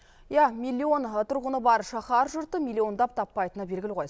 иә миллион тұрғыны бар шаһар жұрты миллиондап таппайтыны белгілі ғой